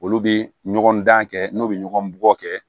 Olu bɛ ɲɔgɔn dan kɛ n'u bɛ ɲɔgɔn bugɔ kɛ